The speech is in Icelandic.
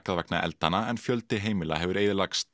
vegna eldanna en fjöldi heimila hefur eyðilagst